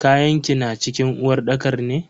Kayanki na cikin uwarɗakar ne?